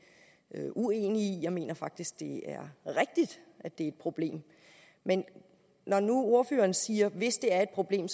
uenig i jeg mener faktisk det er rigtigt at det er et problem men når nu ordføreren siger at hvis det er et problem